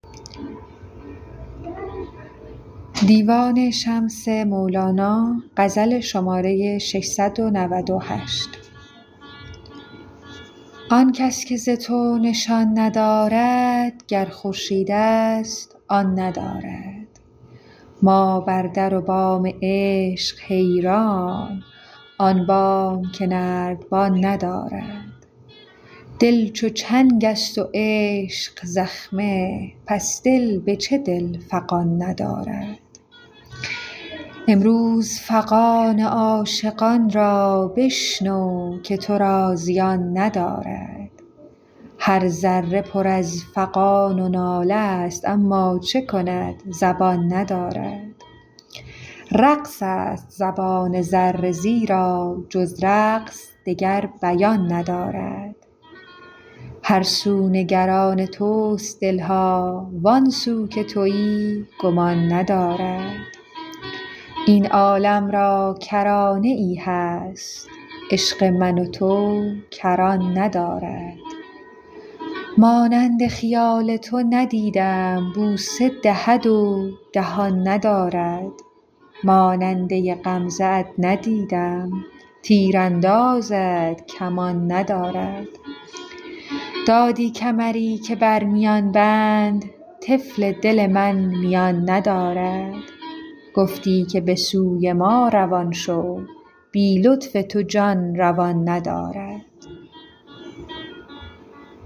آن کس که ز تو نشان ندارد گر خورشیدست آن ندارد ما بر در و بام عشق حیران آن بام که نردبان ندارد دل چون چنگست و عشق زخمه پس دل به چه دل فغان ندارد امروز فغان عاشقان را بشنو که تو را زیان ندارد هر ذره پر از فغان و ناله ست اما چه کند زبان ندارد رقص است زبان ذره زیرا جز رقص دگر بیان ندارد هر سو نگران تست دل ها وان سو که توی گمان ندارد این عالم را کرانه ای هست عشق من و تو کران ندارد مانند خیال تو ندیدم بوسه دهد و دهان ندارد ماننده غمزه ات ندیدم تیر اندازد کمان ندارد دادی کمری که بر میان بند طفل دل من میان ندارد گفتی که به سوی ما روان شو بی لطف تو جان روان ندارد